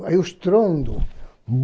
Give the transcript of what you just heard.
Aí o estrondo.